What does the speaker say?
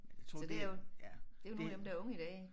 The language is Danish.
Så det jo det jo nogle af dem der er unge i dag